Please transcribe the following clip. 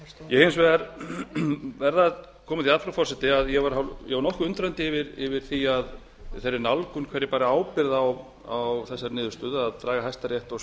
ég hins vegar verð að koma því að frú forseti að ég var nokkuð undrandi yfir þeirri nálgun hver bar ábyrgð á þessari niðurstöðu að draga hæstarétt og